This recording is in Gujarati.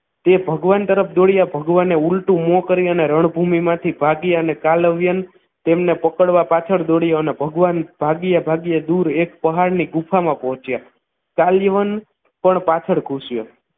તે ભગવાન તરફ દોડ્યા અને ભગવાન ઊલટું મો કરી રણભૂમિ માંથી ભાગ્યા અને કાલવ્યન તેમને પકડવા પાછળ દોડયો અને ભગવાન ભાગ્યા ભાગ્યા દૂર એક પહાડની ગુફામાં પહોંચ્યા કાલવ્યન પણ પાછળ ગુસ્યો